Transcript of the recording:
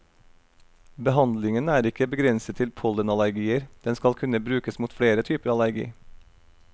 Behandlingen er ikke begrenset til pollenallergier, den skal kunne brukes mot flere typer allergi.